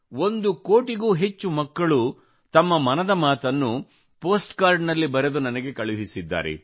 ಒಂದು ಕೋಟಿಗೂ ಹೆಚ್ಚು ಮಕ್ಕಳು ತಮ್ಮ ಮನದ ಮಾತನ್ನು ಪೋಸ್ಟ್ ಕಾರ್ಡನಲ್ಲಿ ಬರೆದು ನನಗೆ ಕಳುಹಿಸಿದ್ದಾರೆ